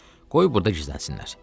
Qoy burada gizlənsinlər.